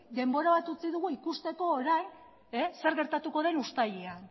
denbora bat utzi ikusteko orain zer gertatuko den uztailean